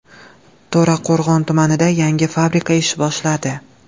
To‘raqo‘rg‘on tumanida yangi fabrika ish boshladi.